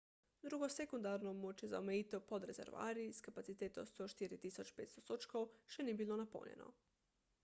drugo sekundarno območje za omejitev pod rezervoarji s kapaciteto 104.500 sodčkov še ni bilo napolnjeno